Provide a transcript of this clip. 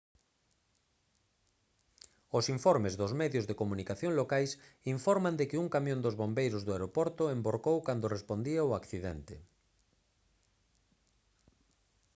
os informes dos medios de comunicación locais informan de que un camión dos bombeiros do aeroporto envorcou cando respondía ao accidente